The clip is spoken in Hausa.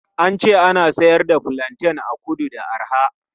An ce ana siyar da fulanten a kudu da arha.